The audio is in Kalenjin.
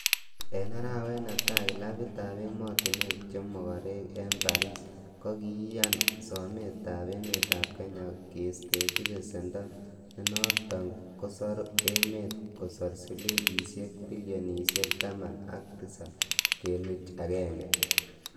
En arawet netai, clabitab emotinwek che mogorek en Paris, Kokiyaan sometab emetab Kenya kistechi besendo, nenoton kosoru emet kosor silingisiek bilionisiek taman ak tisab kenuch agenge.